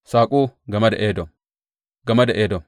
Saƙo game da Edom Game da Edom.